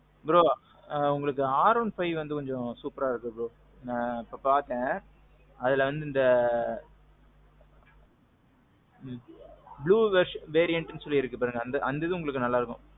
bro. உங்களுக்கு R one five கொஞ்சம் superஅ இருக்கும் bro. நான் இப்போ பாத்தேன். அதுல வந்து இந்த ம்ம். blue version variant சொல்லி இருக்கு. இப்போ அந்தது உங்களுக்கு நல்லா இருக்கும்.